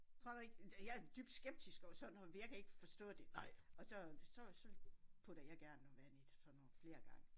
Tror du ikke? Jeg er dybt skeptisk overfor sådan noget for jeg kan ikke forstå det og så så så putter jeg gerne noget vand i sådan nogle flere gange